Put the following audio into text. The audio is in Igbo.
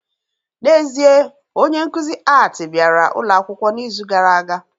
N'ezie, onye nkuzi Art bịara ụlọ akwụkwọ n'izu gara aga